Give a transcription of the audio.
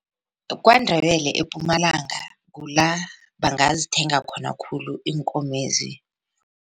KwaNdebele ePumalanga kula bangazithenga khona khulu iinkomezi.